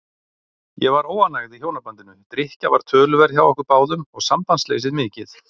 Ég var óánægð í hjónabandinu, drykkja var töluverð hjá okkur báðum og sambandsleysið mikið.